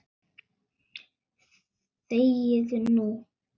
ÞEGIÐU NÚ!